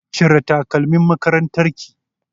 Cire takalmin makarantar ki!